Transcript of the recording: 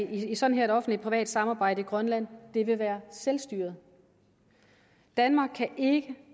i sådan et offentlig privat samarbejde i grønland vil være selvstyret danmark kan ikke